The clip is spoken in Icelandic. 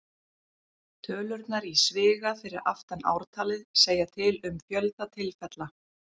Tölurnar í sviga fyrir aftan ártalið segja til um fjölda tilfella.